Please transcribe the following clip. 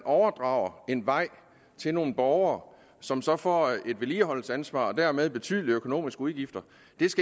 overdrage en vej til nogle borgere som så får et vedligeholdelsesansvar og dermed betydelige økonomiske udgifter